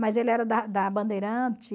Mas ele era da da Bandeirante.